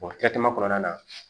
O kɔnɔna na